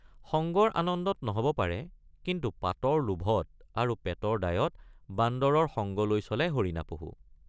সঙ্গৰ আনন্দত নহব পাৰে কিন্তু পাতৰ লোভত আৰু পেটৰ দায়ত বান্দৰৰ সঙ্গ লৈ চলে হৰিণা পহু।